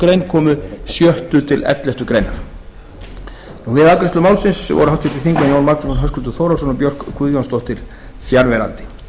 grein komi sjötta til ellefta grein við afgreiðslu málsins voru háttvirtir þingmenn jón magnússon höskuldur þórhallsson og björk guðjónsdóttir fjarverandi